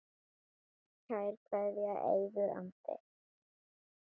Kær kveðja, Eiður Andri.